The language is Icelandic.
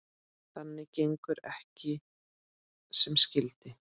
Það gengur ekki sem skyldi.